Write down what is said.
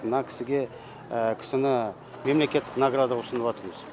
мына кісіге кісіні мемлекеттік наградаға ұсынып атырмыз